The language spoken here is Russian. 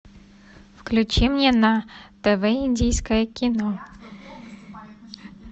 включи мне на тв индийское кино